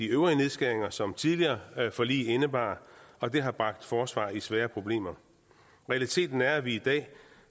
øvrige nedskæringer som tidligere forlig indebar og det har bragt forsvaret i svære problemer realiteten er at vi i dag